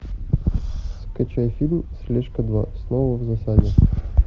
скачай фильм слежка два снова в засаде